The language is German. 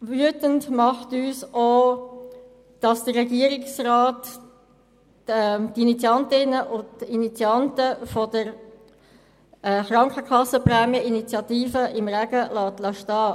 Wütend macht uns auch, dass der Regierungsrat die Initiantinnen und Initianten der Initiative zu den Krankenkassenprämien im Regen stehen lässt.